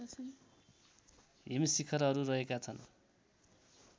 हिमशिखरहरु रहेका छन्